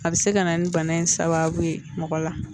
A bɛ se ka na ni bana in sababu ye mɔgɔ la